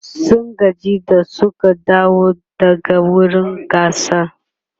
sun gaji da Suka dawo daga wurin gasar